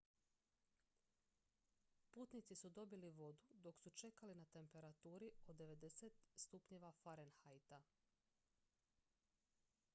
putnici su dobili vodu dok su čekali na temperaturi od 90 °f